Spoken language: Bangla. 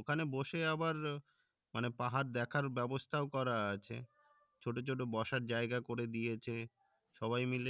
ওখানে বসে আবার মানে পাহাড় দেখার ব্যবস্থাও করা আছে ছোট ছোট বসার জায়গা করে দিয়েছে সবাই মাইল